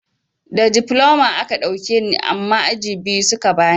Da difloma a ka ɗauke ni amma aji biyu suka bani.